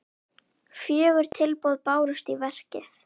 Fjögur tilboð bárust í verkið.